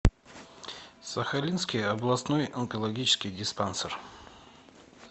сахалинский областной онкологический диспансер